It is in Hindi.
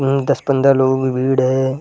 हम्म दस पंद्रह लोगों की भीड़ है।